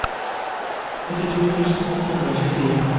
åttito tusen åtte hundre og tjuefire